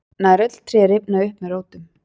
nær öll tré rifna upp með rótum